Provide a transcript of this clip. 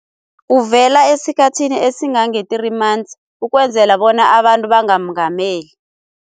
Uvela esikhathini esingange-three months, ukwenzela bona abantu bangamungameli.